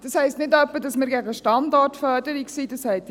Das heisst nicht etwa, dass wir gegen Standortförderung sind;